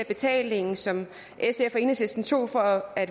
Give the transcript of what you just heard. betaling som sf og enhedslisten tog for at